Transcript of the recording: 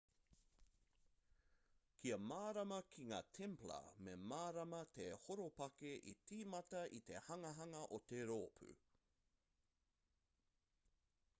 kia mārama ki ngā templar me mārama te horopaki i tīmata i te hanganga o te rōpū